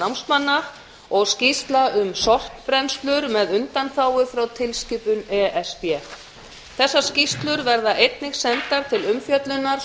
námsmanna fimmta skýrsla um sorpbrennslur með undanþágu frá tilskilskipun e s b þessar skýrslur verða einnig sendar til umfjöllunar